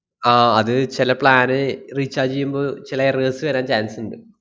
ആഹ് അത് ചെല plan recharge ചെയ്യുമ്പോ ചെല errors വെരാൻ chance ഇണ്ട്.